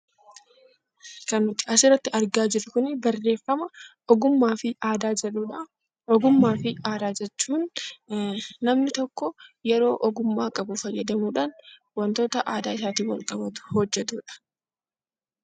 Kan nuti asirratti argaa jiruu kun barreeffama ogummaa fi aadaa jedhudha. Ogummaa fi aadaa jechuun namni tokko yeroo ogummaa qabu fayyadamuudhaan wantoota aadaa isaatiin wal qabatu hojjatudha.